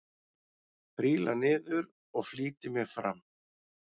Príla niður og flýti mér fram.